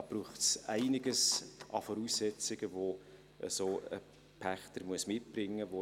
Da braucht es einiges an Voraussetzungen, die ein solcher Pächter mitbringen muss.